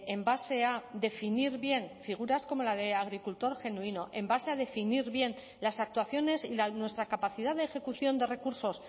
en base a definir bien figuras como la de agricultor genuino en base a definir bien las actuaciones y nuestra capacidad de ejecución de recursos